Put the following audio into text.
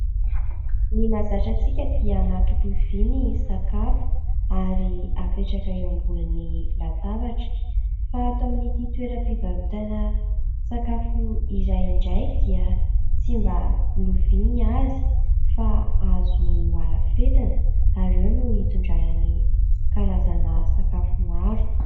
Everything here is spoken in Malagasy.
Ny mahazatra antsika dia anaty lovia ny sakafo ary apetraka eo ambony latabatra. Fa ato amin'ity toeram-pivarotana sakafo iray indray dia tsy mba lovia ny azy fa hazo noarafetana ary eo no hitondrana ny karazana sakafo maro.